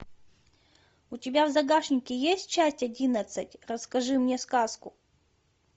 у тебя в загашнике есть часть одиннадцать расскажи мне сказку